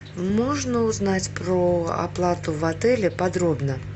можно узнать про оплату в отеле подробно